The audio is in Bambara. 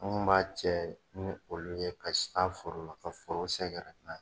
An kun m'a cɛ ni olu ye, ka taa la, ka foro sɛgɛrɛ n'a ye.